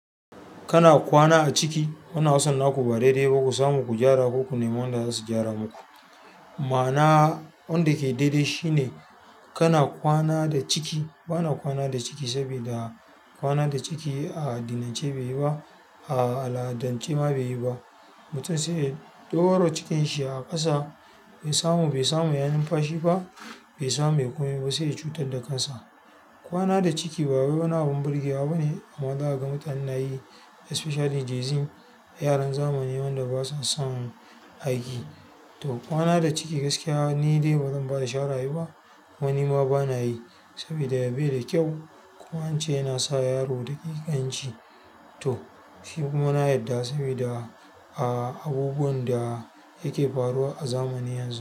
Kana kwana a ciki, wana wasan naku ba daidai ba. Ku samu ku gyara ko ku nemo wanda za su gyara muku. Ma'ana wanda ke daidai shine ka na kwana da ciki? Ba na kwana da ciki sabida kwana da ciki a addinance bai yi ba, a al'adance ma bai yi ba. Mutum sai ya ɗaura cikin shi a ƙasa, bai samu, bai samu ya numfashi ba, bai samu ya yi kumai ba sai ya cutar da kansa. Kwana da ciki ba wai wani abun burge wa ba ne amma za a ga mutane na yi especially gen-z yaran zamani wanda basa son aiki. To kwana da ciki gaskiya ni dai bazan bada shawara a yi ba kuma ni ma ba na yi sabida bai da kyau kuma an ce yana sa yaro taƙikanci. To shi kuma na yadda sabida a abubuwan da ya ke faruwa a zamani yanzu.